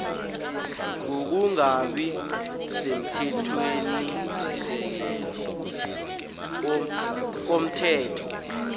ngokungabi semthethwenisisekelo komthetho